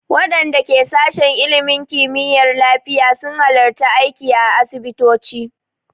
Waɗanda ke sashin ilimin kimiyyar lafiya su na halartar aiki a asibitoci